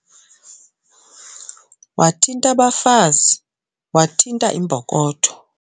Wathint' abafazi wathinta imbokotho.